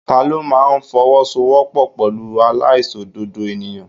Ta ló máa fowosowopo pẹ̀lú aláìṣòdodo ènìyàn?